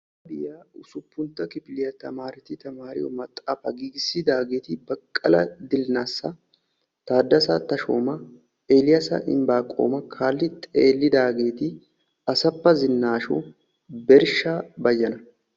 ussuppuntta kifiliya tamaariya tamaretti tamaariyo mxaafa giigissidaageeti Baqala dillinessa, taddassa tashooma, eliyassa imbbaqqoma, kaalli xeelidaageeti asappa zinashsho, bershsha bayyana.